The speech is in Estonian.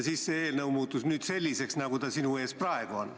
Siis see eelnõu muutus selliseks, nagu ta sinu ees praegu on.